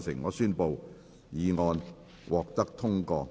我宣布議案獲得通過。